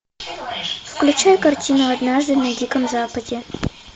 включай картину однажды на диком западе